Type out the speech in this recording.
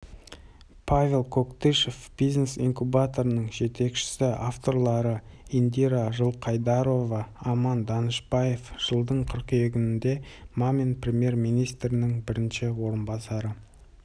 павел коктышев бизнес инкубаторының жетекшісі авторлары индира жылқайдарова арман данышбаев жылдың қыркүйегінде мамин премьер-министрінің бірінші орынбасары